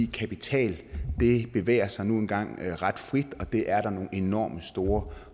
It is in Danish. kapital bevæger sig nu engang ret frit og det er der nogle enormt store